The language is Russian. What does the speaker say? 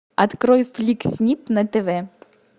открой фликс снип на тв